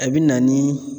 A bi na ni